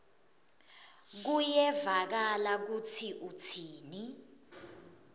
kuyevakala kutsi utsini